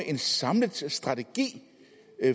en samlet strategi